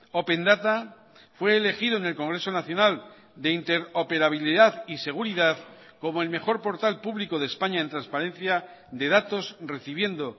opendata fue elegido en el congreso nacional de interoperabilidad y seguridad como el mejor portal público de españa en transparencia de datos recibiendo